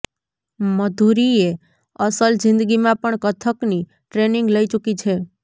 મધુરીએ અસલ જિંદગીમાં પણ કથકની ટ્રેનિંગ લઇ ચુકી છે